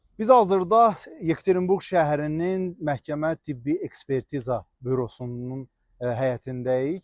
Biz hazırda Yekaterinburq şəhərinin Məhkəmə Tibbi Ekspertiza Bürosunun həyətindəyik.